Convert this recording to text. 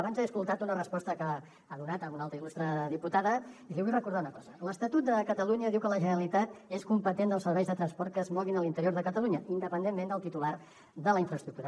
abans l’he escoltat en una resposta que ha donat a una altra il·lustre diputada i li vull recordar una cosa l’estatut de catalunya diu que la generalitat és competent dels serveis de transport que es moguin a l’interior de catalunya independentment del titular de la infraestructura